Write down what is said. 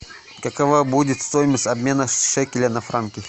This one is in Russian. какова будет стоимость обмена шекеля на франки